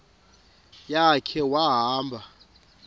ya khe wahamba